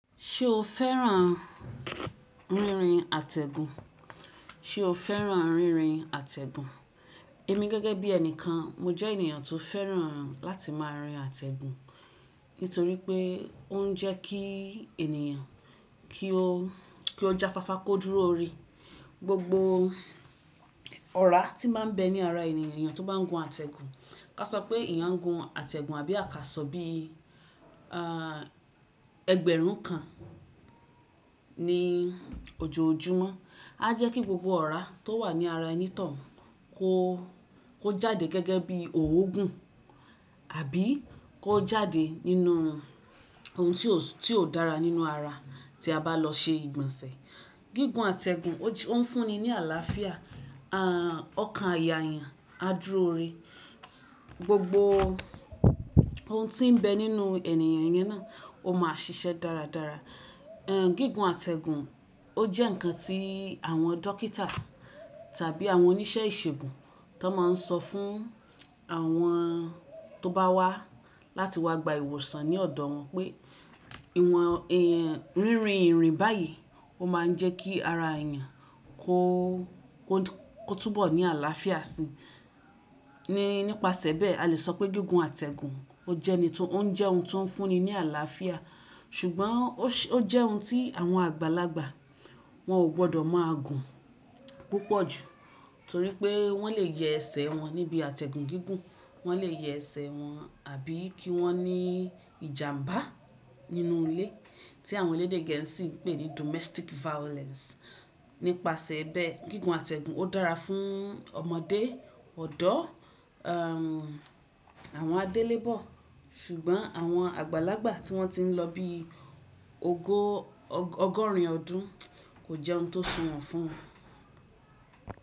Ṣe o fẹ́ràn rírin àtẹ̀gùn? Ṣe o fẹ́ràn rírin àtẹ̀gùn? Èmi gẹ́gẹ́ bí ẹnìkan, mo jẹ́ ènìyàn tó fẹ́ràn láti máa rin àtẹ̀gùn. Nítorí pé ó ń jẹ́ kí ènìyàn kí ó, kí ó jáfáfá kó dúró re. Gbogbo ọ̀rá tí máa ń bẹ ní ara ènìyàn tó bá ń gun àtẹ̀gùn, ká sọ pé ìyán gun àtẹ̀gùn àbí akásọ bí, ah, ẹgbẹ̀rún kan ní ojoojúmọ́. Á jẹ́ kí gbogbo ọ̀rá tó wà ní ara ẹni tọ̀un kó, kó jáde gẹ́gẹ́ bí òógùn àbí kó jáde nínú ohun tí ó, tí ó dára nínú ara tí a bá lọ ṣe ìgbọ̀nsẹ̀. Gígùn àtẹ̀gùn ó fún ni ní àlàáfíà, ah, ọkàn àyà yàn á dúró re. Gbogbo ohun tí ń bẹ nínú ènìyàn yẹn náà ó máa ṣiṣẹ́ dáradára. Ehn, gígùn àtẹ̀gùn ó jẹ́ ǹkan tí àwọn dókítà tàbí àwọn oníṣẹ́ ìṣègùn tó máa ń sọ fún àwọn tó bá wá láti wá gba ìwòsàn ní ọ̀dọ̀ wọn pé ìwọ̀n èn, rírin ìrìn báyìí ó máa ń jẹ́ kí ara ènìyàn kó, kó, kó túbọ̀ ní àlàáfíà sí i. Ni nípasẹ̀ bẹ́ẹ̀ a le sọ pé gígùn àtẹ̀gùn ó jẹ́ ẹni tó, ó jẹ́ ohun tí ó ń fún ni ní àlàáfíà. Ṣùgbọ́n ó jẹ́ ohun tí àwọn àgbàlagbà wọ́n ò gbọdọ̀ máa gùn púpọ̀ jù. Nítorí pé wọ́n lè yẹ ẹsẹ̀ wọn níbi àtẹ̀gùn gígùn. Wọ́n lè yẹ ẹsẹ̀ wọn àbí kí wọ́n ní ìjàmbá nínú ilé tí àwọn elédè gẹ́ẹ́sì ń pè ní domestic violence. Nípasẹ̀ bẹ́ẹ̀, gígùn àtẹ̀gùn ó dára fún ọmọdé, ọ̀dọ́, ehm, àwọn adélébọ̀, ṣùgbọ́n àwọn àgbàlagbà tí wọ́n ti ń lọ bí ogó, ọgọ́rin ọdún kò jẹ́ ohun tó sunwọ̀n fún wọn.